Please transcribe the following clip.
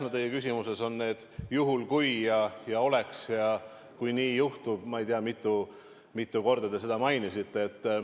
No teie küsimuses kõlasid need "juhul kui" ja "oleks" ja "kui nii juhtub" – ma ei tea, mitu korda te seda mainisite.